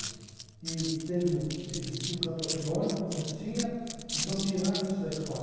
E teve o ti existia o canto orfeônico, você tinha, então tiraram isso da escola.